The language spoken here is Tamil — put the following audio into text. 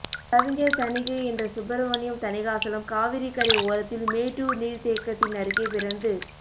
கவிஞர் தணிகை என்ற சுப்ரமணியம் தணிகாசலம் காவிரிக்கரை ஓரத்தில் மேட்டூர் நீர்த் தேக்கத்தின் அருகே பிறந்து